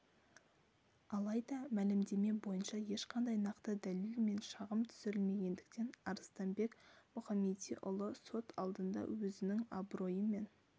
алайда мәлімдеме бойынша ешқандай нақты дәлел мен шағым түсірілмегендіктен арыстанбек мұхамедиұлы сот алдында өзінің абыройы мен